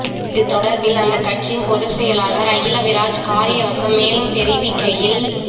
இது தொடர்பில் அந்தக் கட்சின் பொதுச்செயலாளர் அகில விராஜ் காரியவசம் மேலும் தெரிவிக்கையில்